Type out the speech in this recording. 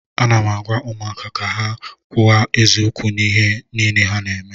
Ana m agwa ụmụaka ka ha na-ekwu eziokwu n'ihe niile ha na-eme